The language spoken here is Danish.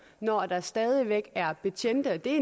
når der stadig væk er betjente og det er